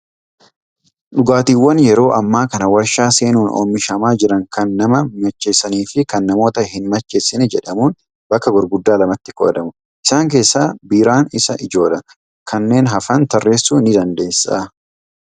Dhugaatiiwwan yeroo ammaa kana waarshaa seenuun oomishamaaa jiran kan nama macheessanii fi kan namoota hin macheeessine jedhamuun bakka gurguddaa lamatti qoodamu. Isaan keessaa biiraan isa ijoodha. Kanneen hafan tarreessuu ni dandeessaa?